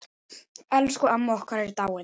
Elsku amma okkar er dáin.